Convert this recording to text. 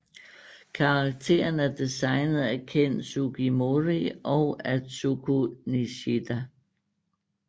Karakteren er designet af Ken Sugimori og Atsuko Nishida